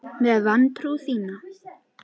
Með vantrú þína.